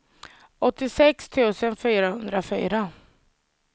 åttiosex tusen fyrahundrafyra